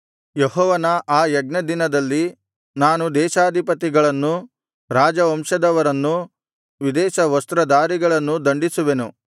ಯೆಹೋವನ ಆ ಯಜ್ಞದಿನದಲ್ಲಿ ನಾನು ದೇಶಾಧಿಪತಿಗಳನ್ನೂ ರಾಜವಂಶದವರನ್ನೂ ವಿದೇಶ ವಸ್ತ್ರದಾರಿಗಳೆಲ್ಲರನ್ನೂ ದಂಡಿಸುವೆನು